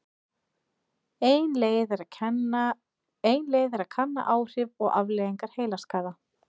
Ein leið er að kanna áhrif og afleiðingar heilaskaða.